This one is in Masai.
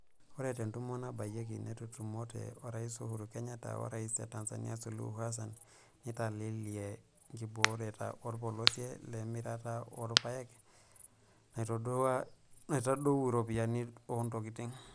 Ore tentumo nabayieki natutumote orais Uhuru Kenyatta werais e Tanzania Suluhu Hassan nitelelia ngibooreta olpolosia le mirata oolpaek naitadouo iropiyiani oontokitin.